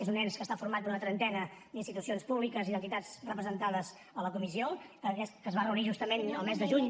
és un ens que està format per una trentena d’institucions públiques i entitats representades a la comissió que es va reunir justament el mes de juny